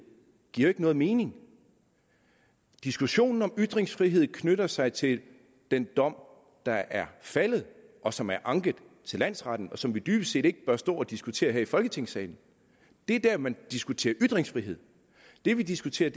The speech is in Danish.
giver jo ikke nogen mening diskussionen om ytringsfrihed knytter sig til den dom der er faldet og som er anket til landsretten og som vi dybest set ikke bør stå at diskutere her i folketingssalen det er der man diskuterer ytringsfrihed det vi diskuterer